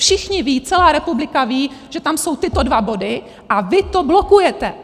Všichni vědí, celá republika ví, že tam jsou tyto dva body, a vy to blokujete!